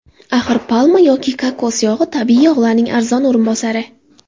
Axir, palma yoki kokos yog‘i tabiiy yog‘larning arzon o‘rinbosari.